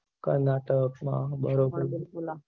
કર્નાટક માં બરોબર